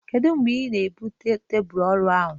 Kedu mgbe ị na-ebute tebụl ọrụ ahụ?